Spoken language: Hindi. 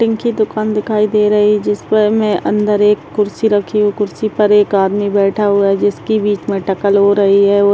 कटिंग की दुकान दिखाई दे रही है जिस पर हमें अन्दर एक कुर्सी रखी हुई कुर्सी पर एक आदमी बैठा हुआ है जिसकी बीच में हो रही है वो --